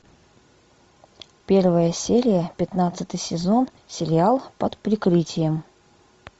первая серия пятнадцатый сезон сериал под прикрытием